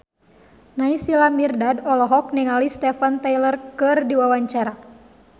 Naysila Mirdad olohok ningali Steven Tyler keur diwawancara